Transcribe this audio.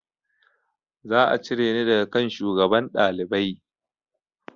Za a cire ni daga kan shugaban ɗalibai